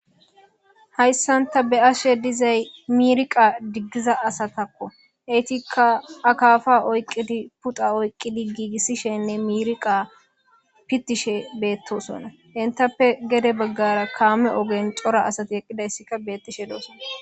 Hayssan ta be'ashe dizzayi mirriqqa diggiza asatakko heyittikka akkafa oykkidi puxxa oyikkidi giggisishenne mirriqqa pittishshe bettosdona etappe gedde baggara kamme oggen Cora asati eqqidayssikka bettishe de'ossona.